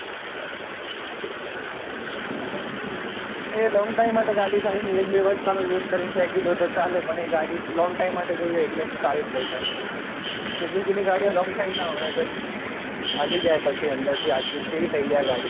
એ long time માટે ગાડી સારી નહિ એક બે વર્ષ તમે use કરી ને ફેકી દો તો ચાલે પણ એ ગાડી long time માંટે જોઈએ એટલે હું સારી લયીસ Suzuki ની ગાડી long time ના વપરાય હાલી જય પછી અંદર થી આખી કેવી થયી જાય